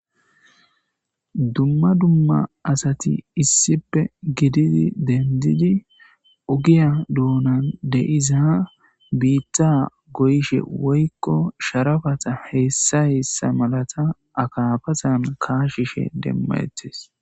Dumma dumma asati issipe gididi dendidi ugiya dounan deyiza biitta goyshe woykko sharafata heessa yeessa malata akaabazan kaashishe demmayettes